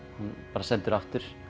var sendur aftur